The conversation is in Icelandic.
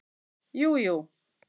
Jú jú